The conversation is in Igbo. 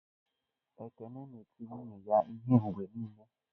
Ekene na-eti nwunye ya ihe mgbe niile.